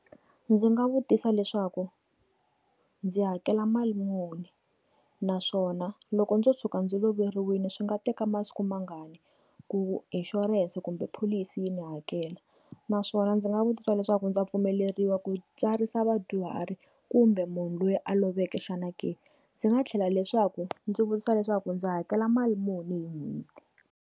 Ndzi nga vutisa leswaku ndzi hakela mali muni naswona loko ndzo tshuka ndzi loveriwile swi nga teka masiku mangani ku inshurense kumbe pholisi yi ni hakela naswona ndzi nga vutisa leswaku ndza pfumeleriwa ku tsarisa vadyuhari kumbe munhu loyi a loveke xana ke, ndzi nga tlhela leswaku ndzi vutisa leswaku ndzi hakela mali muni hi n'hweti.